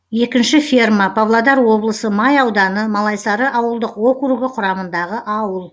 екінші ферма павлодар облысы май ауданы малайсары ауылдық округі құрамындағы ауыл